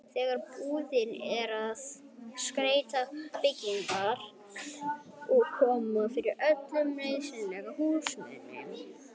þegar búið er að skreyta bygginguna og koma fyrir öllum nauðsynlegum húsmunum.